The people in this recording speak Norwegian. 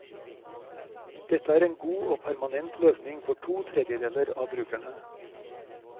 Dette er en god og permanent løsning for to tredjedeler av brukerne.